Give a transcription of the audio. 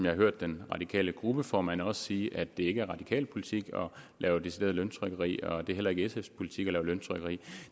hørt den radikale gruppeformand sige at det ikke er radikal politik at lave decideret løntrykkeri og at det heller ikke er sfs politik at lave løntrykkeri